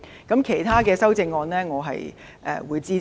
至於其他修正案，我會支持。